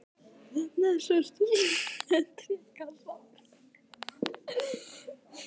Þarna sá stúlkan líka tréaska.